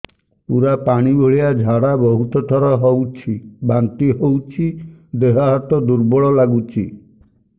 ପୁରା ପାଣି ଭଳିଆ ଝାଡା ବହୁତ ଥର ହଉଛି ବାନ୍ତି ହଉଚି ଦେହ ହାତ ଦୁର୍ବଳ ଲାଗୁଚି